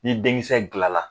Ni denkisɛ gilan la